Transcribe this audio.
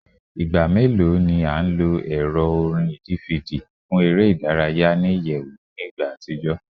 Igba melo ni a lo ẹrọ orin DVD fun ere idaraya ni iyẹwu ni igba atijọ?